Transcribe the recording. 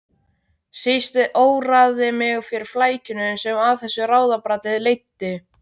Síst óraði mig fyrir flækjunum sem af þessu ráðabralli leiddi.